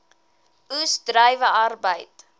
oes druiwe arbeid